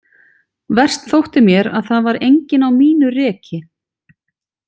Verst þótti mér að það var enginn á mínu reki.